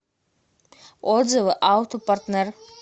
отзывы аутопартнэр